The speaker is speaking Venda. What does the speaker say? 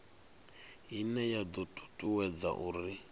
ine ya do tutuwedza uri